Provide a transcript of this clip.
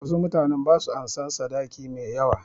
Wasu mutanen ba su ansan sadaki mai yawa.